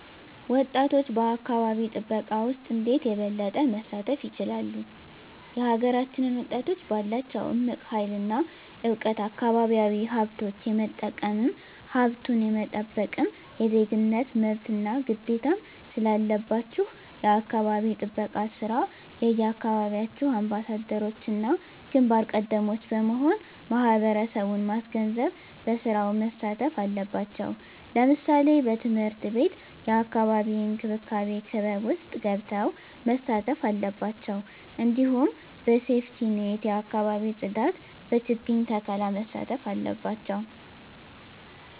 ወጣቶች በአካባቢ ጥበቃ ውስጥ እንዴት የበለጠ መሳተፍ ይችላሉ? የሀገራችንን ወጣቶች ባላቸው እምቅ ሀይል እና እውቀት አካባቢያዊ ሀብቶች የመጠቀምም ሀብቱን የመጠበቅም የዜግነት መብትና ግዴታም ስላለባችሁ የአካባቢ ጥበቃ ስራ የየአካባቢያችሁ አምባሳደሮችና ግንባር ቀደሞች በመሆን ማህበረሰቡን ማስገንዘብ በስራው መሳተፍ አለባቸው ለምሳሌ በትምህርት ቤት የአካባቢ እንክብካቤ ክበብ ውስጥ ገብተው መሳተፍ አለባቸው እንዲሁም በሴፍትኔት የአካባቢ ፅዳት በችግኝ ተከላ መሳተፍ አለባቸው